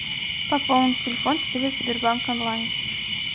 пополнить телефон через сбербанк онлайн